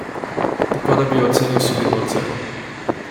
Tako da bi jo ocenil s solidno oceno.